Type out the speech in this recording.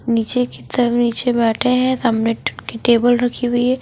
नीचे की सब नीचे बैठे हैं सामने की ट टेबल रखी हुई है।